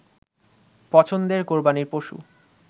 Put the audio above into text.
পছন্দের কোরবানীর পশু